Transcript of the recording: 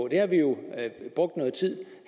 det har vi jo brugt noget tid